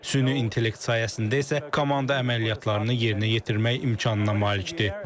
Süni intellekt sayəsində isə komanda əməliyyatlarını yerinə yetirmək imkanına malikdir.